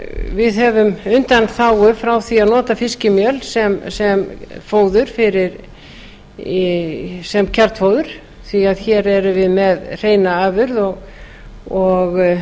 við höfum undanþágur frá því að nota fiskimjöl sem kjarnfóður því hér erum við með hreina afurð og